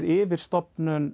yfirstofnun